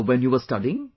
when you were studying